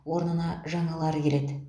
орнына жаңалары келеді